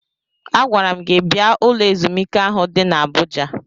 Agwara m gi bia ụlọ ezumike ahụ di n'Abụja.